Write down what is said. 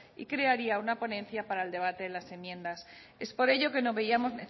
y crearía una ponencia para el debate en las enmiendas es por ello que no veíamos